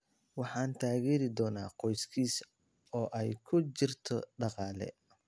“Waxaan taageeri doonaa qoyskiisa, oo ay ku jirto dhaqaale.